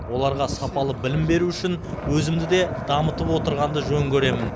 оларға сапалы білім беру үшін өзімді де дамытып отырғанды жөн көремін